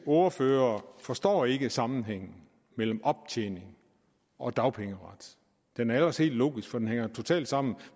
ordfører forstår ikke sammenhængen mellem optjening og dagpengeret den er ellers helt logisk for den hænger totalt sammen